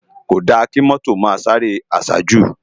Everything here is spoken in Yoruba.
Kódá ki mòtó má sáré àsájú